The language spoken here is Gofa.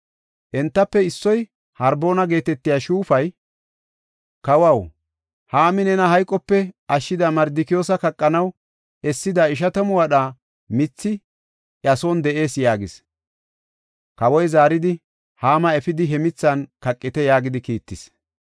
Entafe issoy, Harboona geetetiya shuufay, “Kawaw, Haami nena hayqope ashshida Mardikiyoosa kaqanaw essida ishatamu wadha mithi iya son de7ees” yaagis. Kawoy zaaridi, “Haama efidi, he mithan kaqite” yaagidi kiittis.